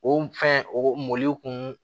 O fɛn o mɔliw kun